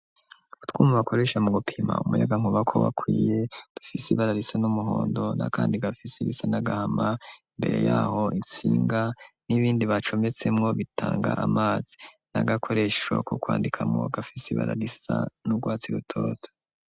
Utwuma bakoresha mu gupima umuyagankubako wakwiye gafisi ibara risa n'umuhondo na kandi gafise irisa n'agahama, imbere yaho intsinga n'ibindi bacometsemwo bitanga amazi n'agakoresho ku kwandika mu gafise ibara risa n'ugwatsi rutoto.